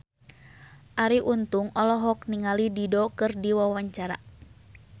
Arie Untung olohok ningali Dido keur diwawancara